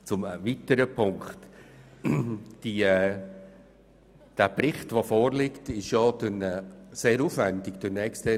Ein weiterer Punkt: Der vorliegende Bericht wurde von einer externen Firma sehr aufwendig erarbeitet.